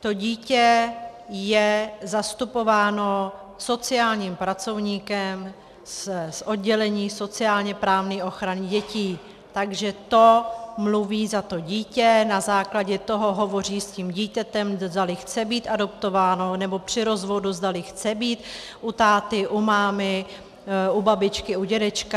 To dítě je zastupováno sociálním pracovníkem z oddělení sociálně-právní ochrany dětí, takže to mluví za to dítě, na základě toho hovoří s tím dítětem, zdali chce být adoptováno nebo při rozvodu zdali chce být u táty, u mámy, u babičky, u dědečka.